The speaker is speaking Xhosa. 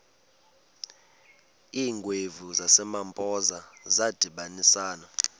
iingwevu zasempoza zadibanisana